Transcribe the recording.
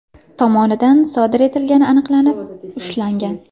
tomonidan sodir etilgani aniqlanib, ushlangan.